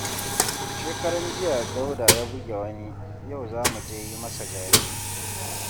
Shekaranjiya Dauda ya buge wani, yau za mu je yi masa jaje